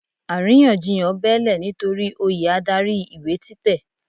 Àrínyànjiyàn bẹ́ẹ́lẹ̀ nitori oyè adarí ìwé títẹ̀.